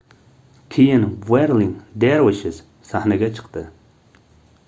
keyin wherling dervishes sahnaga chiqdi